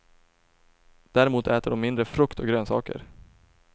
Däremot äter de mindre frukt och grönsaker.